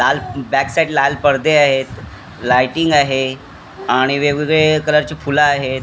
लाल back side लाल पडदे आहेत लायटिंग आहे आणि वेगवेगळे कलरची फुले आहेत.